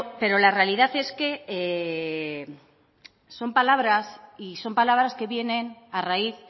pero la realidad es que son palabras y son palabras que vienen a raíz